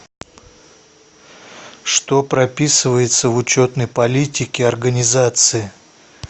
что прописывается в учетной политике организации